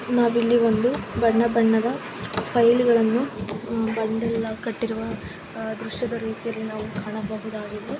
ನಾವು ಇಲ್ಲಿ ಒಂದು ಬಣ್ಣ ಬಣ್ಣದ ಫೈಲ್ಗ ಳನ್ನು ಬಂಡಲ್ ಕಟ್ಟಿರುವ ದೃಶ್ಯದ ರೀತಿಯಲ್ಲಿ ನಾವು ಕಾಣಬಹುದಾಗಿದೆ.